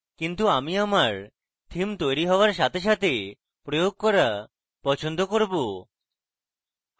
কিন্তু আমি আমার theme তৈরী হওযার সাথে সাথে প্রয়োগ করা পছন্দ করব